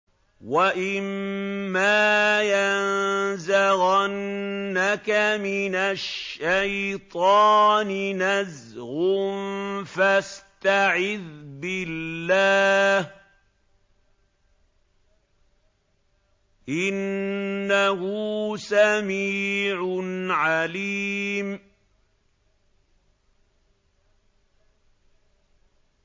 وَإِمَّا يَنزَغَنَّكَ مِنَ الشَّيْطَانِ نَزْغٌ فَاسْتَعِذْ بِاللَّهِ ۚ إِنَّهُ سَمِيعٌ عَلِيمٌ